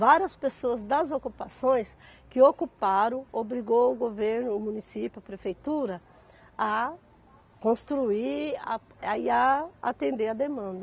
Várias pessoas das ocupações que ocuparam obrigou o governo, o município, a prefeitura a construir a e a atender à demanda.